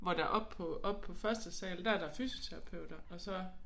Hvor der oppe på oppe på første sal der er der fysioterapeuter og så